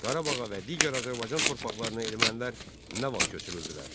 Qarabağa və digər Azərbaycan torpaqlarına ermənilər nə vaxt köçürüldülər?